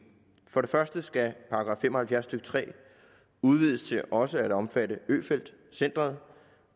for det første skal § fem og halvfjerds stykke tre udvides til også at omfatte øfeldt centret